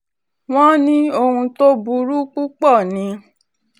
wọ́n ní ohun tó burú púpọ̀ ni